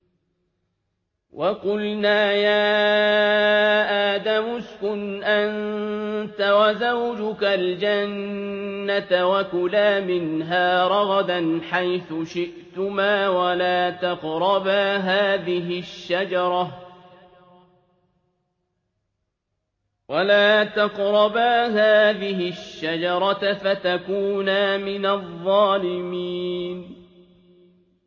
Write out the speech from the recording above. وَقُلْنَا يَا آدَمُ اسْكُنْ أَنتَ وَزَوْجُكَ الْجَنَّةَ وَكُلَا مِنْهَا رَغَدًا حَيْثُ شِئْتُمَا وَلَا تَقْرَبَا هَٰذِهِ الشَّجَرَةَ فَتَكُونَا مِنَ الظَّالِمِينَ